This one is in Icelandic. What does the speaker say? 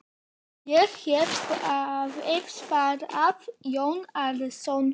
Ég hef beðið, svaraði Jón Arason.